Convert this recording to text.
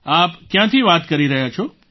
આપ ક્યાંથી વાત કરી રહ્યા છો